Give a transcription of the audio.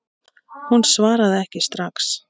Hún svaraði ekki strax.